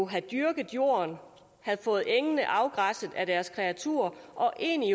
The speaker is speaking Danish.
havde dyrket jorden havde fået engene afgræsset af deres kreaturer og egentlig